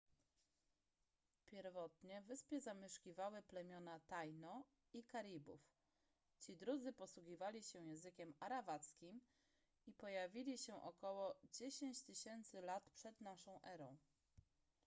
pierwotnie wyspę zamieszkiwały plemiona taino i karibów ci drudzy posługiwali się językiem arawackim i pojawili się ok 10 000 lat p.n.e